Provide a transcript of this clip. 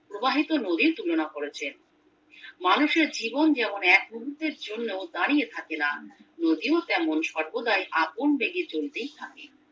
প্রবাহিত নদীর তুলনা করেছেন মানুষের জীবন যেমন এক মুহূর্তের জন্য দাঁড়িয়ে থাকে না নদীও তেমন সর্বদাই আপন বেগে চলতেই থাকে